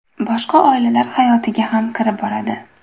Boshqa oilalar hayotiga ham kirib boradi.